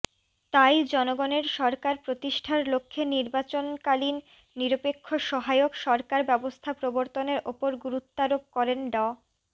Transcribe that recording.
তাই জনগণের সরকার প্রতিষ্ঠার লক্ষ্যে নির্বাচনকালীন নিরপেক্ষ সহায়ক সরকার ব্যবস্থা প্রবর্তনের ওপর গুরুত্বারোপ করেন ড